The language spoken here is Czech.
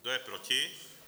Kdo je proti?